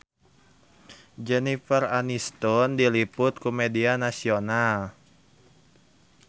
Jennifer Aniston diliput ku media nasional